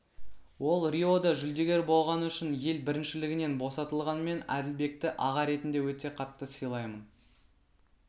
ол риода жүлдегер болғаны үшін ел біріншілігінен босатылған мен әділбекті аға ретінде өте қатты сыйлаймын